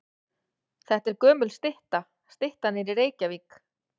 Þetta er gömul stytta. Styttan er í Reykjavík.